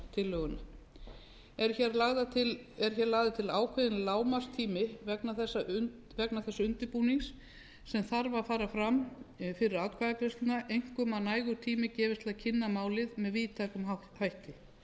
þingsályktunartillöguna er hér lagður til ákveðinn lágmarkstími vegna þess undirbúnings sem þarf að fara fram fyrir atkvæðagreiðsluna einkum að nægur tími gefist til að kynna málið með víðtækum hætti